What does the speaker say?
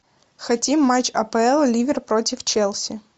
хотим матч апл ливер против челси